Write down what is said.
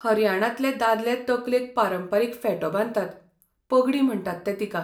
हरयाणांतले दादले तकलेक पारंपारीक फेटो बांदतात, पगडी म्हणटात ते तिका.